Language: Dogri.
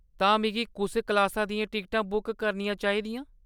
ते में कुस क्लासा दियां टिकट बुक करनियां चाहि दियां ?